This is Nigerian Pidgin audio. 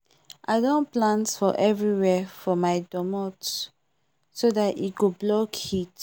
i don plant for everywherefor my domot so that e go block heat